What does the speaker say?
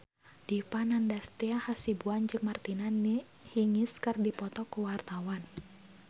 Dipa Nandastyra Hasibuan jeung Martina Hingis keur dipoto ku wartawan